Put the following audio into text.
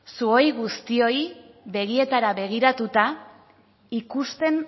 zuei guztioi begietara begiratuta ikusten